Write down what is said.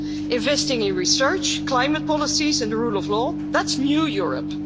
Investing in research, climate policies and the rule of law, that's new Europe.